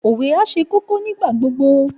Òwe á ṣì ṣe kókó nígbà gbogbo